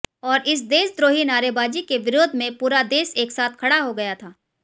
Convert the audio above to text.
और इस देशद्रोही नारेबाज़ी के विरोध में पूरा देश एक साथ खड़ा हो गया था